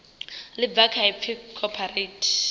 ḽi bva kha ipfi cooperate